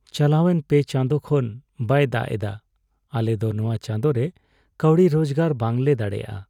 ᱪᱟᱞᱟᱣᱮᱱ ᱓ ᱪᱟᱸᱫᱳ ᱠᱷᱚᱱ ᱵᱟᱭ ᱫᱟᱜ ᱮᱫᱟ ᱾ ᱟᱞᱮ ᱫᱚ ᱱᱚᱣᱟ ᱪᱟᱸᱫᱚ ᱨᱮ ᱠᱟᱹᱣᱰᱤ ᱨᱳᱡᱜᱟᱨ ᱵᱟᱝ ᱞᱮ ᱫᱟᱲᱮᱭᱟᱜᱼᱟ ᱾